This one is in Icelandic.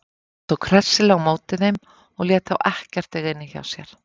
Hann tók hressilega á móti þeim og lét þá ekkert eiga inni hjá sér.